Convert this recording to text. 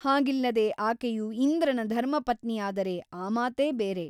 ಹಾಗಿಲ್ಲದೆ ಆಕೆಯು ಇಂದ್ರನ ಧರ್ಮಪತ್ನಿಯಾದರೆ ಆ ಮಾತೇ ಬೇರೆ.